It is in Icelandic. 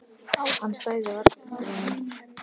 Hann stæði varla upp úr honum.